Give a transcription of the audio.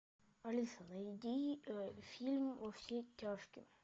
алиса найди фильм во все тяжкие